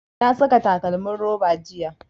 Na saka takalmin roba jiya